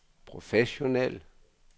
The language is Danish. professionel